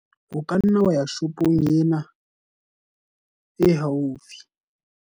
o ka nna wa ya shopong ena e haufi